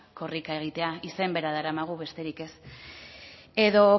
korrika egitea izen bera daramagu besterik ez edo